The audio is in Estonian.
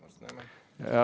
Varsti näeme!